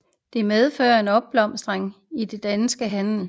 Det medførte en opblomstring i den danske handel